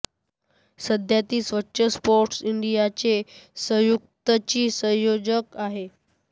सध्या ती स्वच्छ स्पोर्ट्स इंडियाचे संयुक्तची संयोजक आहे